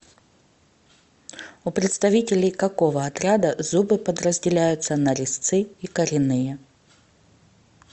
у представителей какого отряда зубы подразделяются на резцы и коренные